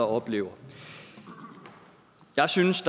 oplever jeg synes